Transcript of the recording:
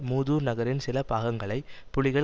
மூதூர் நகரின் சில பாகங்களை புலிகள்